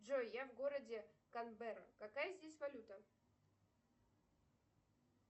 джой я в городе канбера какая здесь валюта